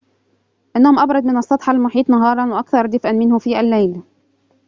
إنهم أبرد من السطح المحيط نهاراً وأكثر دفئاً منه في الليل